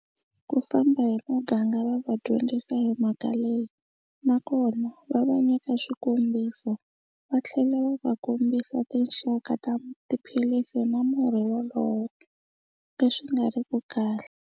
Ku famba hi muganga va va dyondzisa hi mhaka leyi nakona va va nyika swikombiso va tlhela va va kombisa tinxaka ta tiphilisi na murhi wolowo leswi nga riki kahle.